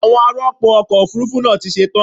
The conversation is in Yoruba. Àwọn ar'ọpò ọkọ̀ Òfurufú náà ti ṣe tán.